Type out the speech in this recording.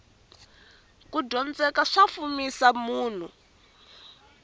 kudyondzeka swa fumisa munhu